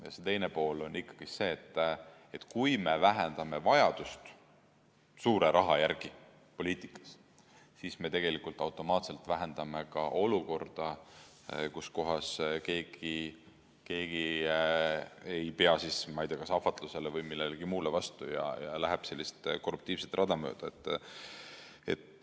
Ja see teine pool on see, et kui me vähendame vajadust suure raha järele poliitikas, siis me tegelikult automaatselt vähendame ka olukordi, kus keegi ei pea, ma ei tea, kas ahvatlusele või millelegi muule vastu ja läheb sellist korruptiivset rada mööda.